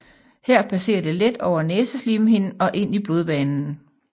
Her passerer det let over næseslimhinden og ind i blodbanen